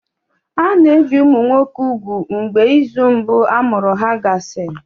A na-ebi ụmụ nwoke úgwù mgbe izu mbụ amụrụ ha gasịrị.